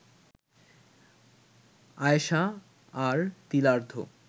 আয়েষা আর তিলার্ধ